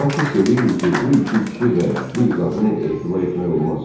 Bak hiss eləyirdi ki, bu iki kişi və bir qadına etibar etmək olmaz.